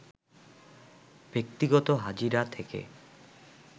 ব্যক্তিগত হাজিরা থেকে